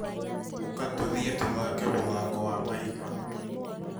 Ũka tũthiĩ tũthake muthako wa mahiga